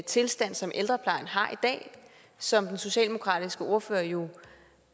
tilstand som ældreplejen har i dag som den socialdemokratiske ordfører jo